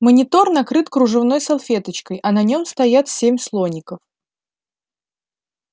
монитор накрыт кружевной салфеточкой а на нём стоят семь слоников